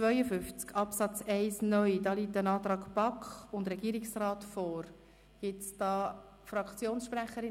Gibt es hierzu Fraktionssprecherinnen oder Fraktionssprecher?